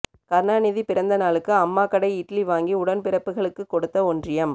கருணாநிதி பிறந்த நாளுக்கு அம்மா கடை இட்லி வாங்கி உடன்பிறப்புகளுக்குக் கொடுத்த ஒன்றியம்